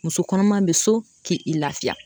Muso kɔnɔma bɛ so ki i laafiya.